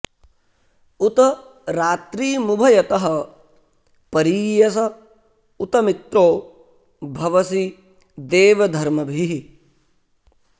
उ॒त रात्री॑मुभ॒यतः॒ परी॑यस उ॒त मि॒त्रो भ॑वसि देव॒ धर्म॑भिः